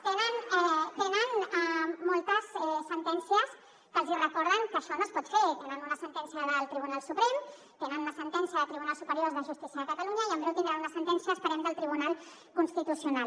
tenen moltes sentències que els recorden que això no es pot fer tenen una sentència del tribunal suprem tenen una sentència del tribunal superior de justícia de catalunya i en breu tindran una sentència esperem del tribunal constitucional